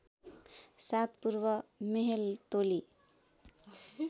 सात पूर्व मेहेलतोली